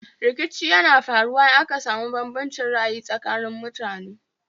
Rikici yana faruwa in aka samu bambancin ra'ayi tsakanin mutane